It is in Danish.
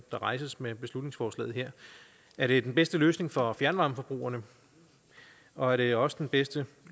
rejses med beslutningsforslaget her er det den bedste løsning for fjernvarmeforbrugerne og er det også den bedste